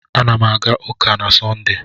Ana m aga ụka na Sọnde.